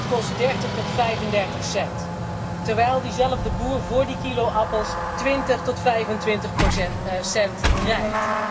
Dat kost 30 tot 35 cent, terwijl diezelfde boer voor die kilo appels 20 tot 25 cent krijgt.